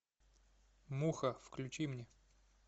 муха включи мне